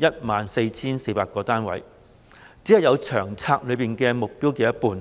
14,400 個單位，僅及《長策》目標的一半。